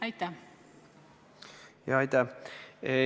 Aitäh!